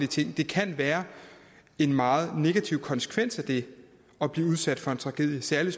ting der kan være en meget negativ konsekvens af at blive udsat for en tragedie særlig